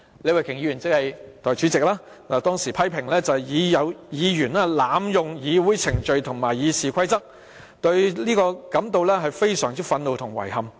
李慧琼議員當時批評有議員濫用議會程序和《議事規則》，對此感到非常憤怒和遺憾。